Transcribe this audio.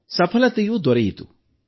ಸಫಲತೆಯೂ ದೊರೆಯಿತು